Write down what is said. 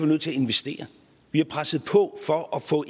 nødt til at investere vi har presset på for at få